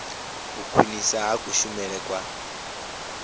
u khwinisa ha kushumele kwa